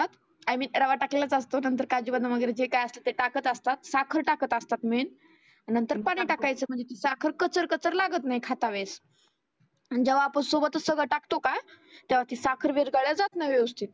I मीन रवा टाकलेलाचं असतो नंतर काजु बदाम जे काही ते टाकत असतात. साखर टाकत असतात मेन नंतर पाणि टाकायचं म्हणजे ती साखर कचर कचर लागत नाही मग खाता वेळेस आणि जेव्हा आपण सोबतच सगळ टाकतो का तेव्हा ती साखर विरघळल्या जात नाही व्यवस्थीत.